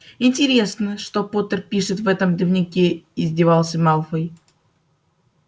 интересно что поттер пишет в этом дневнике издевался малфой